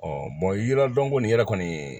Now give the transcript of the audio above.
yiri dɔn kɔni yɛrɛ kɔni